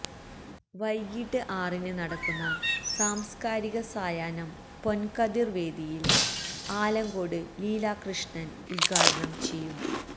വൈകീട്ട് ആറിന് നടക്കുന്ന സാംസ്കാരിക സായാഹ്നം പൊന്കതിര് വേദിയില് ആലങ്കോട് ലീലാ കൃഷ്്ണന് ഉദ്ഘാടനം ചെയ്യും